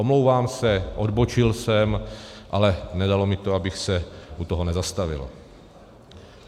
Omlouvám se, odbočil jsem, ale nedalo mi to, abych se u toho nezastavil.